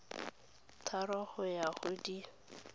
tharo go ya go di